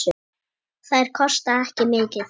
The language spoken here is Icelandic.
Þær kosta ekki mikið.